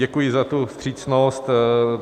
Děkuji za tu vstřícnost.